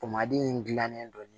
in gilannen don